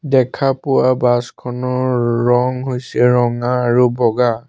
দেখা পোৱা বাছ খনৰ ৰং হৈছে ৰঙা আৰু বগা।